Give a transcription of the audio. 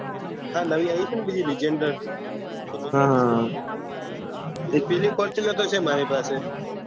હા નયી આયી છે બીજી રીજેન્દ્ર એક પીળી ફોર્તુંનર તો છે મારી પાસે